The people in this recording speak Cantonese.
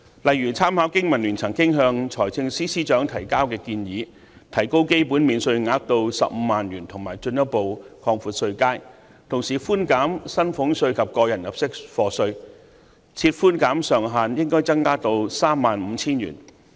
例如，參考香港經濟民生聯盟曾經向財政司司長提交的建議，提高基本免稅額至15萬元，以及進一步擴闊稅階，同時寬減薪俸稅及個人入息課稅，寬減上限應該增加至 35,000 元。